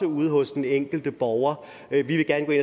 ude hos den enkelte borger vi vil gerne